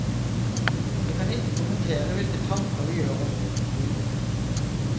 Jeg kan ikke kommentere hvilke tanker vi gjør oss.